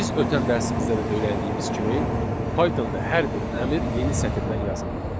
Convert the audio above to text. Biz ötən dərsimizdə də öyrəndiyimiz kimi Pythonda hər bir əmr yeni sətirdən yazılmalıdır.